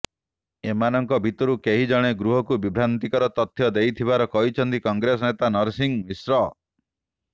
ଏମାନଙ୍କ ଭିତରୁ କେହି ଜଣେ ଗୃହକୁ ବିଭ୍ରାନ୍ତିକର ତଥ୍ୟ ଦେଇଥିବାର କହିଛନ୍ତି କଂଗ୍ରେସ ନେତା ନରସିଂହ ମିଶ୍ର